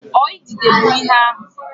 Ọ idide bụ ihe ahụ?